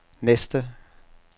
næste